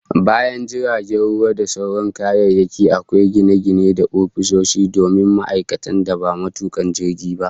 Bayan jiragen ruwa da sauran kayayyaki, akwai gine-gine da ofisoshi domin ma'aikatan da ba matuka jiragen ba